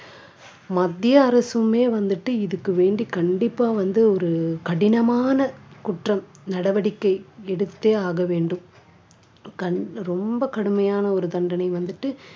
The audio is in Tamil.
மத்திய அரசுமே வந்துட்டு இதுக்கு வேண்டி கண்டிப்பா வந்து ஒரு கடினமான குற்றம் நடவடிக்கை எடுத்தே ஆக வேண்டும் கடு~ ரொம்ப கடுமையான ஒரு தண்டனை வந்துட்டு